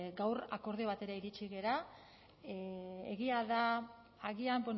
gaur akordio batera iritsi gara egia da agian